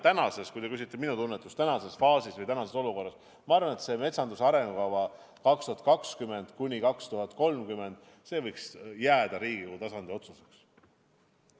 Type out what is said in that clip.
Aga kui te küsite minu tunnetust tänases olukorras, siis ma arvan, et metsanduse arengukava 2020–2030 võiks jääda Riigikogu tasandil otsustada.